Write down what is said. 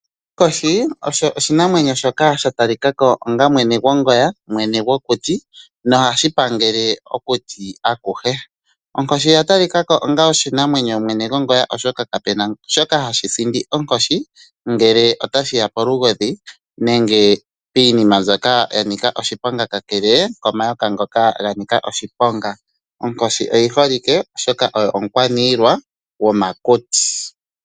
Onkoshi osho oshinamwenyo shoka sha talika ko onga mwene gongoya, mwene gwokuti nohashi pangele okuti akuhe. Onkoshi oya talika ko onga oshinamwenyo mwene gongoya oshoka kapu na shoka hashi sindi onkoshi ngele ota shi ya polugodhi nenge piinima mbyoka ya nika oshiponga kakele komayoka ngoka ga nika oshiponga. Onkoshi oyi holike oshoka oyo omukwaniilwa gomakuti.